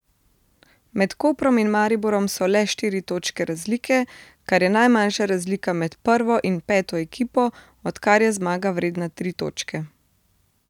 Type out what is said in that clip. Med Koprom in Mariborom so le štiri točke razlike, kar je najmanjša razlika med prvo in peto ekipo, odkar je zmaga vredna tri točke.